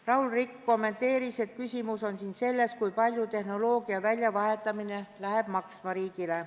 Raul Rikk kommenteeris, et küsimus on siin selles, kui palju tehnoloogia väljavahetamine riigile maksma läheb.